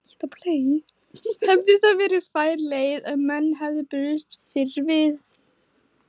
Hefði það verið fær leið ef menn hefðu brugðist fyrr við?